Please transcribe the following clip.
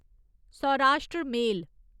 Saurashtra मेल